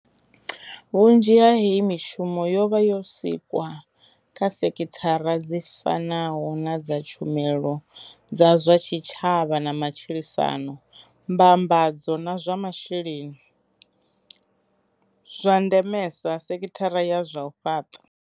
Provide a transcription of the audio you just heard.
Vhunzhi ha heyi mishumo yo vha yo sikwa kha sekhithara dzi fanaho na dza tshumelo dza zwa tshitshavha na matshilisano, mbambadzo, zwa masheleni, zwa ndemesa, sekhithara ya zwa u fhaṱa.